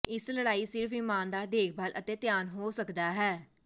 ਇਸ ਲੜਾਈ ਸਿਰਫ ਇਮਾਨਦਾਰ ਦੇਖਭਾਲ ਅਤੇ ਧਿਆਨ ਹੋ ਸਕਦਾ ਹੈ